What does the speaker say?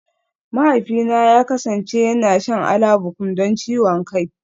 Mahaifina ya kasance yana shan Alabukun don ciwon kai